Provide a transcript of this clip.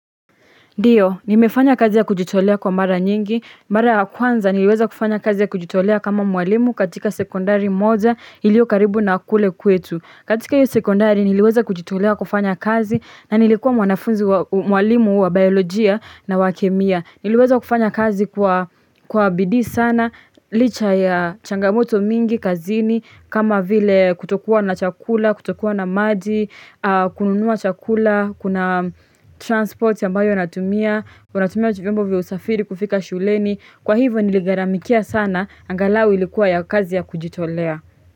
Ndio, nimefanya kazi ya kujitolea kwa mara nyingi, mara ya kwanza niliweza kufanya kazi ya kujitolea kama mwalimu katika sekondari moja ilio karibu na kule kwetu. Katika hiyo sekondari, niliweza kujitolea kufanya kazi na nilikuwa mwanafunzi wa mwalimu wa Biolojia na wa kemia. Niliwezo kufanya kazi kwa Kwa bidii sana, licha ya changamoto mingi, kazini, kama vile kutokuwa na chakula, kutokuwa na maji, aah kununua chakula, kuna transport ambayo inatumia, unatumia vyombo vya usafiri kufika shuleni, kwa hivyo niligharamikia sana, angalau ilikuwa ya kazi ya kujitolea.